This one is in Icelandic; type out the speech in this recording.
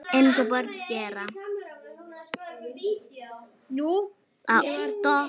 Eins og börn gera.